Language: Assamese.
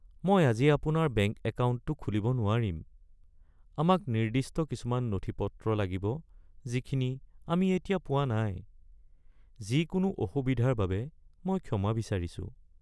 মই আজি আপোনাৰ বেংক একাউণ্টটো খুলিব নোৱাৰিম। আমাক নিৰ্দিষ্ট কিছুমান নথিপত্ৰ লাগিব যিখিনি আমি এতিয়া পোৱা নাই। যিকোনো অসুবিধাৰ বাবে মই ক্ষমা বিচাৰিছোঁ।